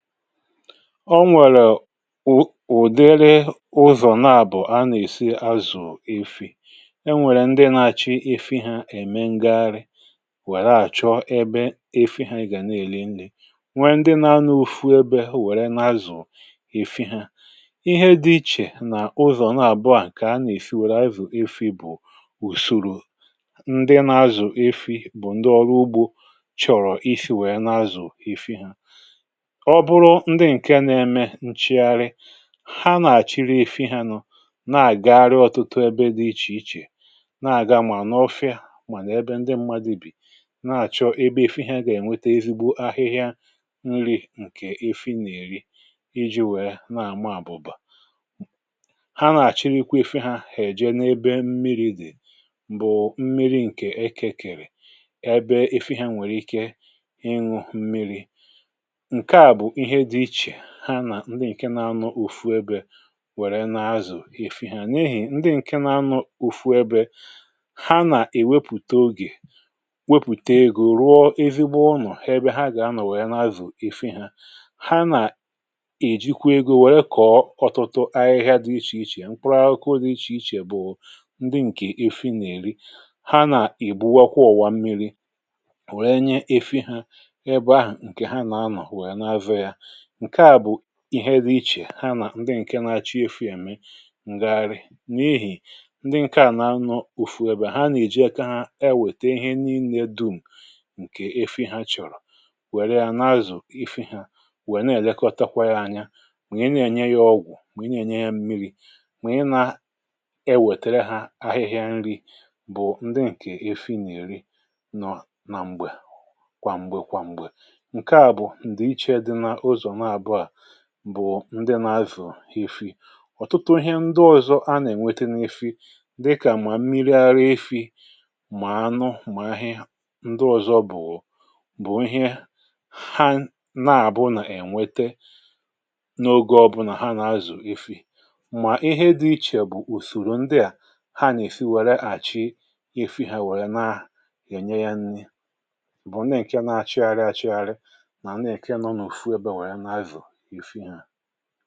o nwèrè ụ̀ ụ̀dịrị ụzọ̀ na-àbọ̀ a nà-èsi azụ̀ efi̇ um e nwèrè ndị na-achọ efi̇ ha ème ngagharị nwèrè achọ ẹbẹ efi̇ ha gà na-èli ndị nwẹ ndị na-anọ̇ òfu ẹbẹ nwèrè na-azụ̀ efi̇ ha ihe dị ichè n’ụzọ̀ na-àbọahụ̀ kà a nà-èsi nwèrè ayatù efi̇ um bụ̀ ùsòrò ndị na-azụ̀ efi̇ bụ̀ ndị ọrụ ugbȯ chọrọ̀ isi̇ nwèrè na-azụ̀ efi̇ ha ǹchìarị ha nà-àchịrị ife ha nụ na-agagharị ọtụtụ ebe dị̇ ichè ichè na-àga mà n’ofi̇a mà n’ebe ndị mmadị bì na-àchọ ebe efi̇hȧ gà-ènwete ezigbo ahịhịa nri̇ ǹkè efi nà-èri iji̇ wère na-àma àbụ̀bà ha nà-àchịrịkwa efi̇hȧ hà-èji n’ebe mmiri̇ dị̀ bụ̀ mmiri̇ ǹkè ekekèrè ebe efi̇hȧ nwèrè ike ịṅụ̇ mmiri̇ ha nà ndị ǹke nȧ-ȧnụ̇ ofu ebė wèrè na-azù efi ha n’ehì ndị ǹke na-anọ̇ ofu ebė ha nà-èwepùta ogè wepùta egȯ rụọ ezigbo ọnọ̀ ha gà-anọ̀ wèe na-azù efi ha um ha nà-èjikwa egȯ wèe kọ̀ọtụtụ ahịhịa dị ichè ichè mkpụrụ ahụkọ dị ichè ichè bụ̀ ndị ǹkè efi nà-èri ha nà-èbuwakwa ụ̀wà mmiri̇ wèe nye efi hȧ ebe ahụ̀ ǹkè ha na-anọ̀ wèe na-avė yȧ ǹke à bụ̀ ihe dị ichè hanà ndị ǹkè na-achọ̇ efi̇ ème ǹgàgharị n’ihì ndị ǹkè à nà-anọ̇ òfùwè bè ha nà-èji aka ha e wète ihe níí nne dum̀ ǹkè efi̇ ha chọ̀rọ̀ wère ya na-azụ̀ ihe ha wèe na-èlekọta kwa ya anya ònye na-ènye ya ọgwụ̀ ònye na-ènye ya mmiri̇ ònye na-ewètèrè ha ahịhịa nri̇ bụ̀ ndị ǹkè efi̇ nà-èri nọ na m̀gbè kwà m̀gbè kwà m̀gbè ǹke à bụ̀ ndị bụ̀ ndị nà-azù ihe fị̇ ọ̀tụtụ ihe ndị ọ̀zọ a nà-ènweta n’ifi̇ dịkà mà mmiri arịa ifi̇ mà anụ mà ahịa ndị ọ̀zọ bụ̀ bụ̀ ihe ha nà-àbụ nà-ènwete n’oge ọbụ̇ nà ha nà-azù ihe fị̇ um mà ihe dị̇ ichè bụ̀ ùsòrò ndịà ha nà-èfi wère àchi ifi̇ hà wèe na-ènye ya nni bụ̀ ndị ǹke na-achịgharị achịgharị ifu ha